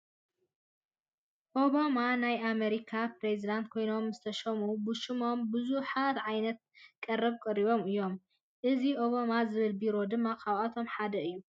ኦባማ ናይ ኣሜሪካ ፕሬዝደንት ኮይኖም ምስተሾሙ ብሽሞም ብዙሓት ዓይነት ቀረባት ቀሪቦም እዮም፡፡ እዚ ኦባማ ዝብል ቢሮ ድማ ካብኣቶም ሓደ እዩ፡፡